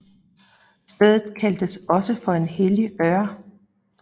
Stedet kaldtes også for hellig Ør